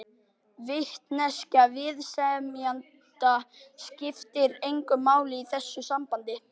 Vitneskja viðsemjenda skiptir engu máli í þessu sambandi.